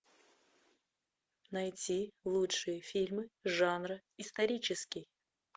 найти лучшие фильмы жанра исторический